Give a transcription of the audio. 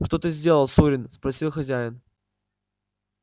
что ты сделал сурин спросил хозяин